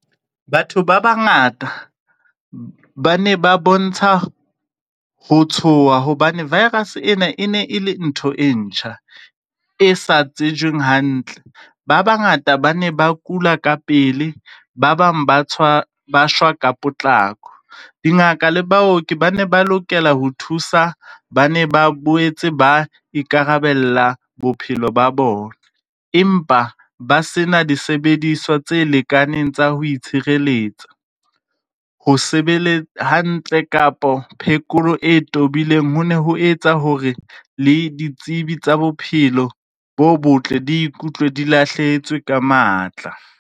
Batho ba bangata ba ne ba bontsha ho tshoha hobane virus ena e ne e le ntho e ntjha e sa tsejweng hantle. Ba bangata ba ne ba kula ka pele. Ba bang ba tswa ba shwa ka potlako dingaka le baoki ba ne ba lokela ho thusa. Ba ne ba boetse ba ikarabella bophelo ba bona, empa ba sena disebediswa tse lekaneng tsa ho itshireletsa ho sebeletsa hantle kapo phekolo e tobileng. Ho ne ho etsa hore le ditsebi tsa bophelo bo botle di ikutlwe di lahlehetswe ka matla.